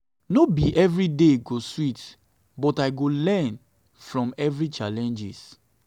no be every day go sweet but i go learn from every challenge.